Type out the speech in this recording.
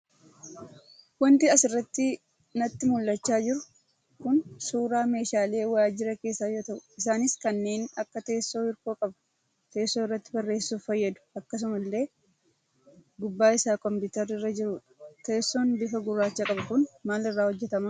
Waanti asirratti natti mul'achaa jiru Kun, suuraa meeshaalee waajira keessaa yoo ta'u, isaanis kanneen akka teessoo hirkoo qabuu, teessoo irratti barreessuuf fayyadu akkasuma illee gubbaa isaa kompiitarri irra jirudha. Teessoon bifa gurracha qabu Kun, maal irraa hojjetama?